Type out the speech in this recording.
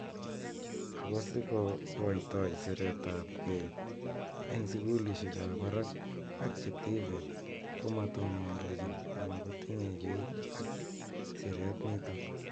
Ako siko koitoi siret ap kei eng sukulishek ab barak ak che tvets komatondochin ana kotinye kei ak siret nitok.